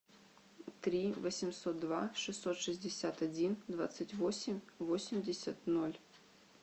три восемьсот два шестьсот шестьдесят один двадцать восемь восемьдесят ноль